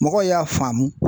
Mɔgɔw y'a faamu